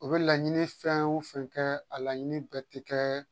U bɛ laɲini fɛn o fɛn kɛ a laɲini bɛɛ tɛ kɛ